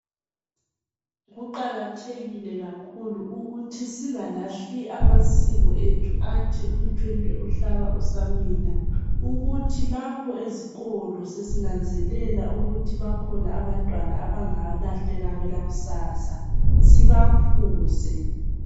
Kuqakathekile kakhulu ukuthi singalahli amasiko ethu athi umthwentwe uhlaba usamila ukuthi lapho ezikolo sesinanzelela ukuthi bakhona abantwana abangalahleka kwelakusasa sibakhuze